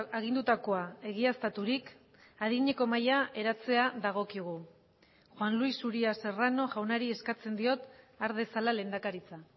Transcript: agindutakoa egiaztaturik adineko mahaia eratzea dagokigu juan luis uria serrano jaunari eskatzen diot har dezala lehendakaritza